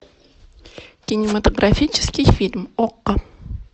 кинематографический фильм окко